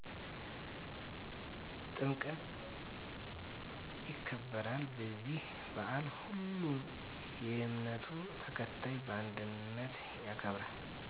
ጥምቀት ይከበራል በዚህ ባአል ሁሉም የእምነቱ ተከታይ በአንድነት ያከብራል